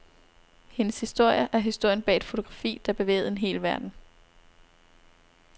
Hendes historie er historien bag et fotografi, der bevægede en hel verden.